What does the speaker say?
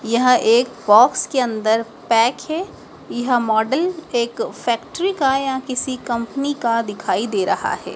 यह एक बॉक्स के अंदर पैक है यहाँ मॉडल एक फैक्ट्री का या किसी कंपनी का दिखाई दे रहा है।